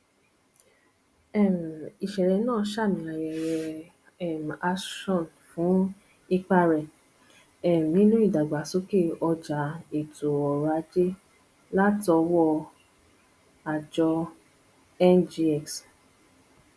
um ìṣẹlẹ náà ṣamí ayẹyẹ um ashon fún ipa rẹ um nínú ìdàgbàsókè ọjà ètò oròajé latọwọ àjọ ngx